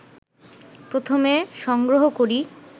প্রথমে সংগ্রহ করি